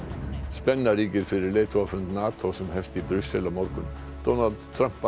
spenna ríkir fyrir leiðtogafund NATO sem hefst í Brussel á morgun Donald Trump